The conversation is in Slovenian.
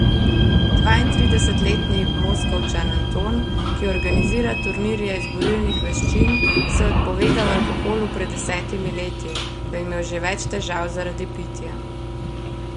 Dvaintridesetletni Moskovčan Anton, ki organizira turnirje iz borilnih veščin, se je odpovedal alkoholu pred desetimi leti, ko je imel že več težav zaradi pitja.